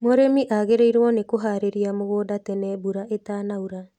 Mūrīmi agīrīirwo nī kūharīria mūgūnda tene mbura īta naura.